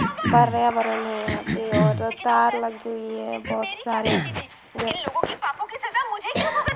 पर्यावरण है यहाँ पे और तार लगी हुई है बहुत सारे --